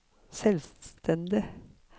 selvstendig